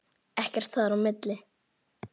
Ekkert þar á milli.